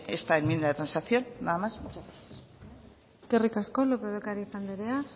esta enmienda de transacción nada más muchas gracias eskerrik asko lópez de ocariz anderea